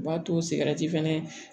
U b'a to sigɛrɛti fɛnɛ